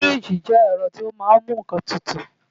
Fíríjì jẹ́ ẹ̀rọ tó máa ń mú nǹkan tutù